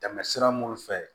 Tɛmɛ sira minnu fɛ